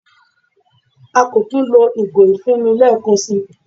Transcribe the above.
À kọ́ tún lọ̀ igò ifúnmi lẹẹkan sí.